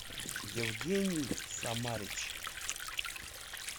евгений самарич